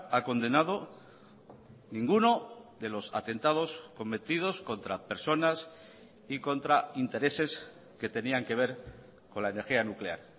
ha condenado ninguno de los atentados cometidos contra personas y contra intereses que tenían que ver con la energía nuclear